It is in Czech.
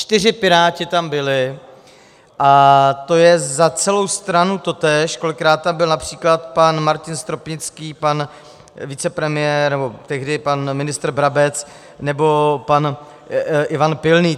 Čtyři Piráti tam byli, a to je za celou stranu totéž, kolikrát tam byl například pan Martin Stropnický, pan vicepremiér nebo tehdy pan ministr Brabec nebo pan Ivan Pilný.